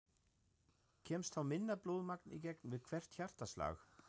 Kemst þá minna blóðmagn í gegn við hvert hjartaslag.